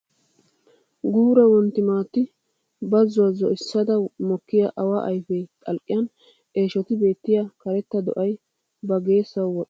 Guura wontti maattan bazzuwa zo'issada mokkiya awaa ayfee xalqqiyan eeshoti beettiya karetta do"ay ba geessuwawu woxxees. Ha do'aappe sinttaara koorinttiya mittay de'es.